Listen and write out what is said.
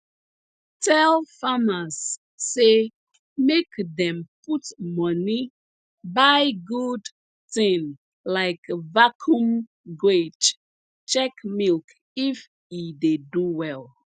tell farmers say make dem put moni buy good tin like vacuum guage check milk if e dey do well